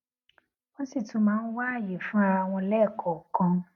wón sì tún máa ń wá àyè fún ara wọn léèkòòkan